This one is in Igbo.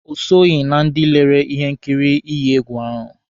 O soghi na ndị lere ihe nkiri iyi egwu ahụ.